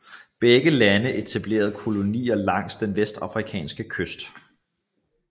Begge lande etablerede kolonier langs den vestafrikanske kyst